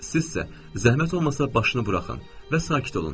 Siz isə zəhmət olmasa başını buraxın və sakit olun.